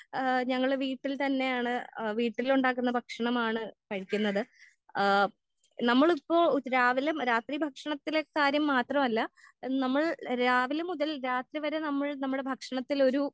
ആ ഞങ്ങൾ വീട്ടിൽ തന്നെ ആണ് ആ വീട്ടിൽ ഉണ്ടാകുന്ന ഭക്ഷണമാണ് കഴിക്കുന്നത്.ആ നമ്മൾ ഇപ്പൊ രാവിലെ രാത്രി ഭക്ഷണത്തിലെ കാര്യം മാത്രല്ല നമ്മൾ രാവിലെ മുതൽ രാത്രി വരെ നമ്മൾ രാത്രി വരെ നമ്മൾ നമ്മളെ ഭക്ഷണത്തിൽ ഒരു